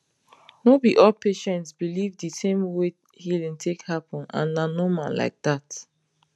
no be all patients believe the same way healing take happen and na normal like that